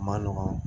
Ma nɔgɔn